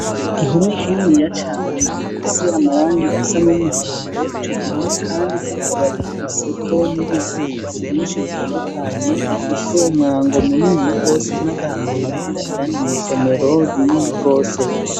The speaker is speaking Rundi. Igihome kininiya cane gifise amarangi asa n'umuhondo ico gihome kandi kikaba gifise ko ivyandiko vyinshi bitandukanye gifise umwango muniniya rwose usa n'agahama winjira indani mw'isomero rinini rwose